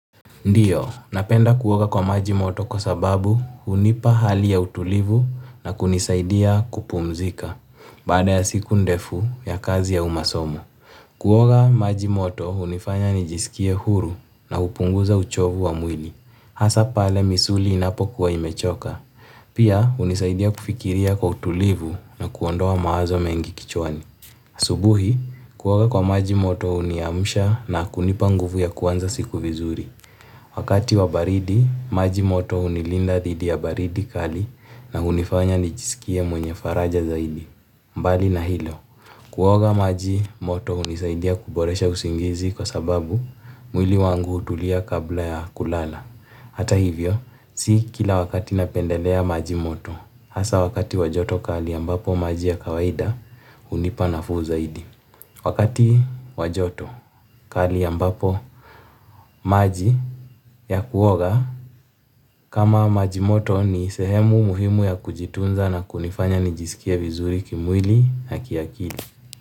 Ndiyo, napenda kuoga kwa maji moto kwa sababu unipa hali ya utulivu na kunisaidia kupumzika. Baada ya siku ndefu ya kazi au masomo. Kuoga maji moto hunifanya nijisikie huru na upunguza uchovu wa mwili. Hasa pale misuli inapo kuwa imechoka. Pia hunisaidia kufikiria kwa utulivu na kuondoa maazo mengi kichwani. Subuhi, kuoga kwa maji moto uniamusha na kunipa nguvu ya kuanza siku vizuri. Wakati wa baridi, maji moto unilinda thidi ya baridi kali na hunifanya nijisikie mwenye faraja zaidi. Mbali na hilo, kuoga maji moto hunisaidia kuboresha usingizi kwa sababu mwili wangu utulia kabla ya kulala. Hata hivyo, si kila wakati napendelea maji moto. Asa wakati wa joto kali ambapo maji ya kawaida, unipa nafuu zaidi. Wakati wa joto kali ambapo maji ya kuoga kama majimoto ni sehemu muhimu ya kujitunza na kunifanya nijisikie vizuri kimwili na kiakili.